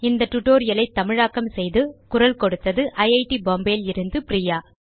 இந்த tutorial ஐ தமிழாக்கம் செய்து குரல் கொடுத்தது ஐட் பாம்பே லிருந்து பிரியா